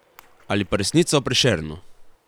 Ali pa Resnica o Prešernu.